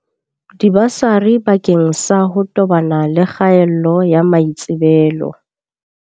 Dibasari bakeng sa ho tobana le kgaello ya maitsebelo.